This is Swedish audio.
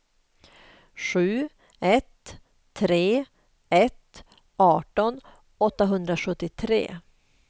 sju ett tre ett arton åttahundrasjuttiotre